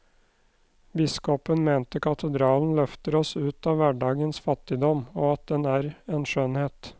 Biskopen mente katedralen løfter oss ut av hverdagens fattigdom, og at den er en skjønnhet.